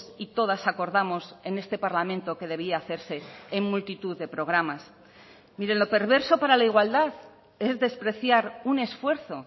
y todas acordamos en este parlamento que debía hacerse en multitud de programas miren lo perverso para la igualdad es despreciar un esfuerzo